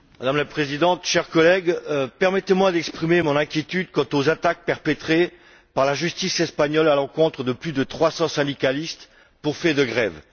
Madame la Présidente, chers collègues, permettez moi d'exprimer mon inquiétude quant aux attaques lancées par la justice espagnole à l'encontre de plus de trois cents syndicalistes pour fait de grève.